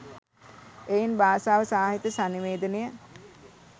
එයින් භාෂාව සාහිත්‍ය සන්නිවේදනය